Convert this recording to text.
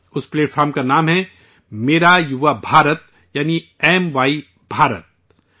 اس تنظیم کا نام ہے میرا یوا بھارت، یعنی 'ایم وائی بھارت'